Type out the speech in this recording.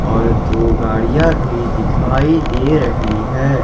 और दो गाड़ियां भी दिखाई दे रही है।